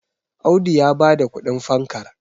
Audu ya ba da kudin fankar